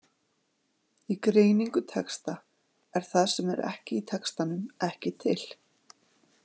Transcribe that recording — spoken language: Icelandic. Í greiningu texta er það sem er ekki í textanum ekki til.